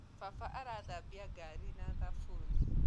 Baba arathambia gari na thabunĩ